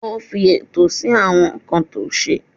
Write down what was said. Ó fi ètò sí àwọn nǹkan tó ṣe.